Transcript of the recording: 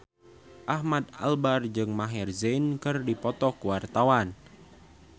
Ahmad Albar jeung Maher Zein keur dipoto ku wartawan